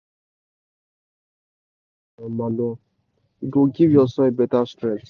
if you crush crush bone and put am for um manure e go give your soil better strength.